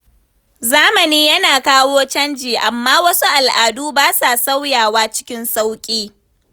Zamani yana kawo canji, amma wasu al’adu ba sa sauyawa cikin sauƙi.